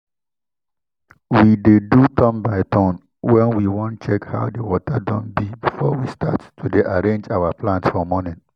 we dey do turn by turn when we wan check how di water don bi before we start to dey arrange our plant for morning